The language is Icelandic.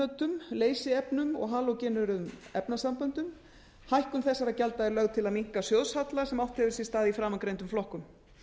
ísócýanötum leysiefnum og halógeneruðum efnasamböndum hækkun þessara gjalda er lögð til til að minnka sjóðshalla sem átt hefur sér stað í framangreindum flokkum